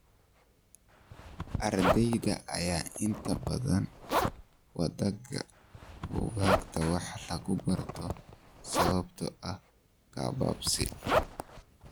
Ardeyda ayaa inta badan wadaaga buugaagta wax laga barto sababtoo ah gabaabsi.